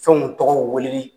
Fɛnw tɔgɔ wele li.